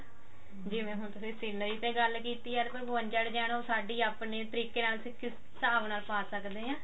ਜਿਵੇਂ ਹੁਣ ਤੁਸੀਂ scenery ਤੇ ਗੱਲ ਕੀਤੀ ਆ ਅਰ ਕੋਈ ਬਵੰਜਾ design ਉਹ ਸਾਡੀ ਆਪਣੀ trick ਨਾਲ ਅਸੀਂ ਕਿਸ ਹਿਸਾਬ ਨਾਲ ਪਾ ਸਕਦੇ ਹਾਂ